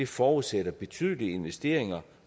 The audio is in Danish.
forudsætter betydelige investeringer